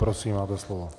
Prosím, máte slovo.